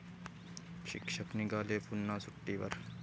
शिक्षक निघाले पुन्हा सुट्टीवर!